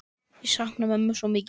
Ég sakna mömmu svo mikið.